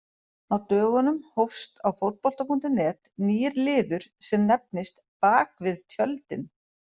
Á dögunum hófst á Fótbolta.net nýr liður sem nefnist Bakvið tjöldin.